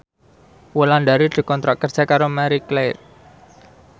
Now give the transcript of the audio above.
Wulandari dikontrak kerja karo Marie Claire